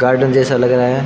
Garden जैसा लग रहा है।